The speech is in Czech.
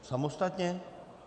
Samostatně?